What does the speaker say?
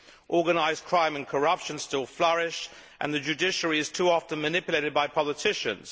Organised crime and corruption still flourish and the judiciary is too often manipulated by politicians.